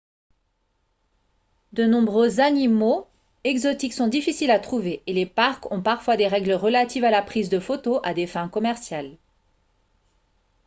de nombreux animaux exotiques sont difficiles à trouver et les parcs ont parfois des règles relatives à la prise de photos à des fins commerciales